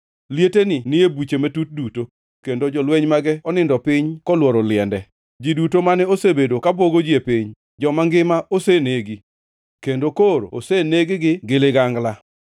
Lieteni ni e buche matut duto kendo jolweny mage onindo piny kolworo liende. Ji duto mane osebedo ka bwogo ji e piny joma ngima osenegi, kendo koro oseneg-gi gi ligangla.